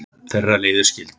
Þeirra leiðir skildu.